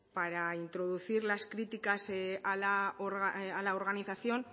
para introducir las críticas a la organización